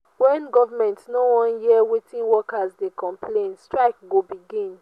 wen government no wan hear wetin workers dey complain strike go begin.